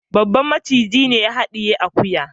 Babban macijin ne ya hadiye akuyan.